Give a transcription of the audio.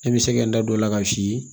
I bɛ se ka n da don o la k'a f'i ye